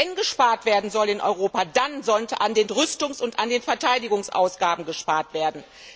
Wenn gespart werden soll in Europa, dann sollte an den Rüstungs und Verteidigungsausgaben gespart werden.